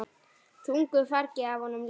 Þungu fargi af honum létt.